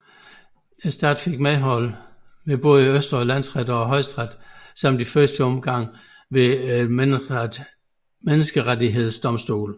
Staten fik medhold ved både Østre Landsret og Højesteret samt i første omgang også ved Menneskerettighedsdomstolen